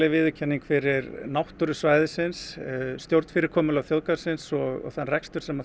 viðurkenning fyrir náttúru svæðisins stjórnfyrirkomulag þjóðgarðsins og þann rekstur sem